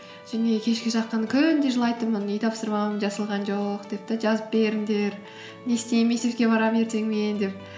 және кешке жақын күнде жылайтынмын үй тапсырмам жасалған жоқ деп те жазып беріңдер не істеймін мектепке барамын ертең мен деп